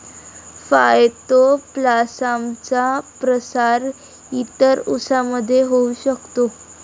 फाय्तोप्लासामचा प्रसार इतर उसांमध्ये होऊ शकतो.